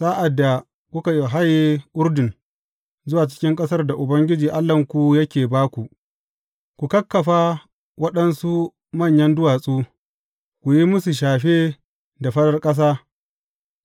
Sa’ad da kuka haye Urdun zuwa cikin ƙasar da Ubangiji Allahnku yake ba ku, ku kakkafa waɗansu manyan duwatsu, ku yi musu shafe da farar ƙasa.